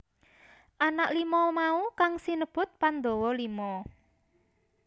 Anak lima mau kang sinebut Pandhawa Lima